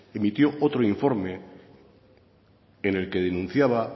emitió otro informe en el que denunciaba